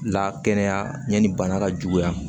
La kɛnɛya yanni bana ka juguya